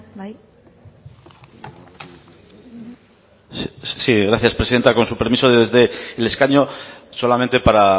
bai sí gracias presidenta con su permiso desde el escaño solamente para